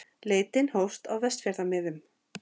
Leitin hófst á Vestfjarðamiðum